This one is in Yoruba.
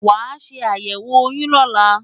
Wàá ṣe àyẹ̀wò oyún lọ́la!